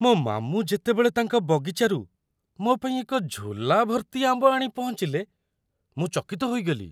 ମୋ ମାମୁଁ ଯେତେବେଳେ ତାଙ୍କ ବଗିଚାରୁ ମୋ ପାଇଁ ଏକ ଝୋଲା ଭର୍ତ୍ତି ଆମ୍ବ ଆଣି ପହଞ୍ଚିଲେ, ମୁଁ ଚକିତ ହୋଇଗଲି।